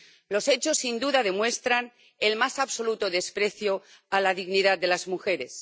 Los hechos, sin duda, demuestran el más absoluto desprecio a la dignidad de las mujeres.